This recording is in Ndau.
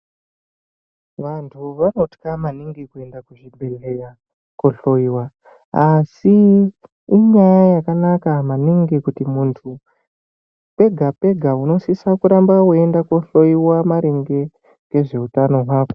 Vantu vanotya maningi kuenda kuzvibhedhera kunohloyiwa asi inyaya yekunaka maningi kuti muntu pega pega unosisa kuramba weienda kohloyiwa maringe nezveutano hwako.